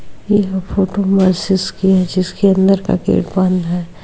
येह फोटो मसजिश का है जिसके अंदर का गेट बंद है।